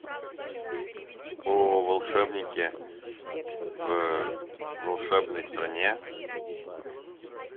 о волшебнике в волшебной стране